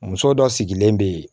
Muso dɔ sigilen bɛ yen